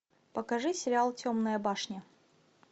покажи сериал темная башня